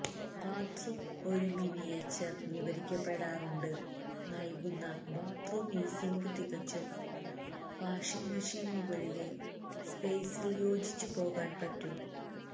bathroom ഒരു miniature വിവരിക്കപ്പെടാറുണ്ട് നൽകുന്ന ബാത്ത്റൂം ഈ സിങ്ക് തികച്ചും വാഷിംഗ് മെഷീൻ മുകളിലെ സ്പെയ്സിൽ യോജിച്ചുപോകാൻ പറ്റും